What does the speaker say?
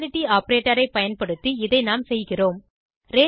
equality operator ஐ பயன்படுத்தி இதை நாம் செய்கிறோம்